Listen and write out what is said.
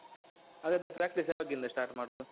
ಹಾಗಾದ್ರೆ practice ಯಾವಗಿಂದ start ಮಾಡುದು?